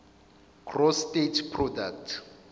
gross state product